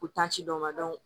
Ko tansiyɔn dɔ ma